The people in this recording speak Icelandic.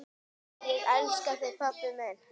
Ég elska þig, pabbi minn.